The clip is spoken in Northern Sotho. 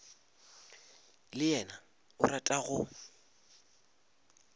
le yena o rata go